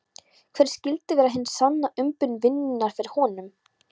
Hver skyldi vera hin sanna umbun vinnunnar fyrir honum?